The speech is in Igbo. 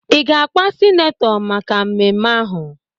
Ị ga-akwa sinetọ maka mmemme ahụ?